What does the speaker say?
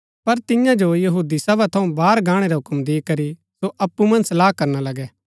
पर तियां जो सभा थऊँ बाहर गाणै रा हूक्म दी करी सो अप्पु मन्ज सलाह करना लगै